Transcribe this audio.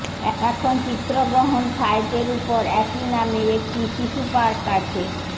এখন চিত্রগ্রহণ সাইটের উপর একই নামের একটি শিশু পার্ক আছে